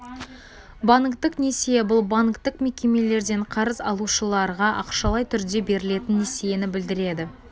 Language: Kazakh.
банктік несие бұл банктік мекемелерден қарыз алушыларға ақшалай түрде берілетін несиені білдіреді